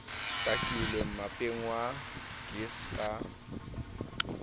takilwe mmapeng wa gis ka